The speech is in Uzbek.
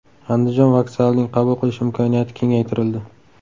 Andijon vokzalining qabul qilish imkoniyati kengaytirildi.